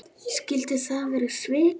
Skyldu það vera svik?